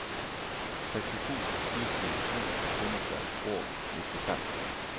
sekstito tusen to hundre og nittifem